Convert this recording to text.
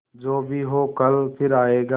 जो भी हो कल फिर आएगा